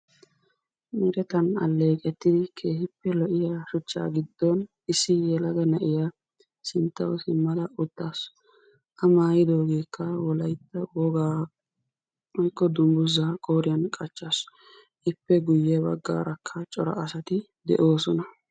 Meretan alleqqetidi lo"iya shuchcha giddon issi yelaga na'iya sinttaw uttaasu. A maattidoogekka wolaytta woga woykko dungguza qooriyan qachchaasu. Ippe guyye baggaarakka cora asari de'oosona.